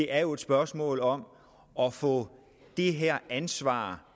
er jo et spørgsmål om at få det her ansvar